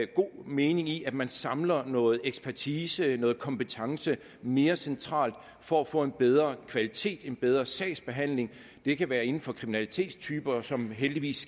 god mening i at man samler noget ekspertise noget kompetence mere centralt for at få en bedre kvalitet en bedre sagsbehandling det kan være inden for kriminalitetstyper som heldigvis